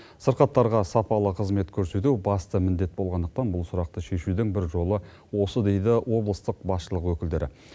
сырқаттарға сапалы қызмет көрсету басты міндет болғандықтан бұл сұрақты шешудің бір жолы осы дейді облыстық басшылық өкілдері